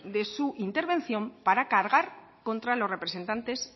de su intervención para cargar contra los representantes